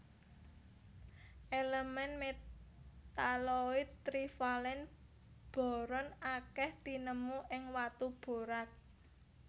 Elemen metaloid trivalen boron akèh tinemu ing watu borax